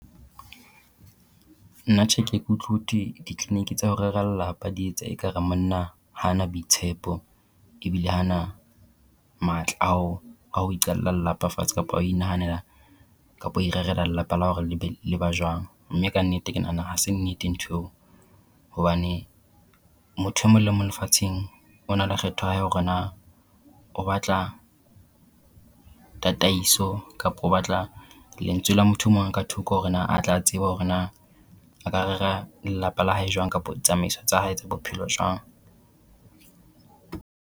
Nna tjhe ke e ke utlwe ho thwe ditleliniki tsa ho rera lelapa di etsa ekare monna ha a na boitshepo ebile ha a na matla a ho a ho iqala lelapa fatshe kapa a ho inahanela kapa ho irerela lelapa la hore le be le ba jwang. Mme ka nnete ke nahana ha se nnete ntho eo hobane motho e mong le mong lefatsheng o na le kgetho ya hae ya hore na o batla tataiso kapa o batla lentswe la motho e mong ka thoko hore na atla tsebe hore na a ka rera lelapa la hae jwang kapa ditsamaiso tsa hae tsa bophelo jwang.